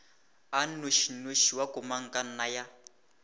a nnošinoši wa komangkanna ya